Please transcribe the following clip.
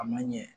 A ma ɲɛ